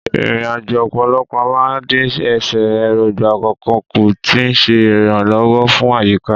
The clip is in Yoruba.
Ìrìnnà ọ̀pọ̀lọpọ̀ máa ń dín ẹsẹ̀ erogba kọ̀ọ̀kan kù, tí ó ń ṣe ìrànlọ́wọ́ fún àyíká.